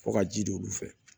Fɔ ka ji don olu fɛ